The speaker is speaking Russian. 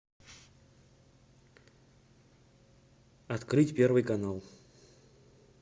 открыть первый канал